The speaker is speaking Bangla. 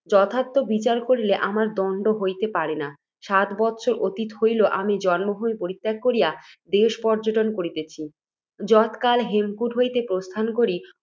যথার্থ বিচার করিলে, আমার দণ্ড হইতে পারে না। সাত বৎসর অতীত হইল, আমি জন্মভূমি পরিত্যাগ করিয়া দেশপর্য্যটন করিতেছি। যৎকালে হেমকূট হইতে প্রস্থান করি,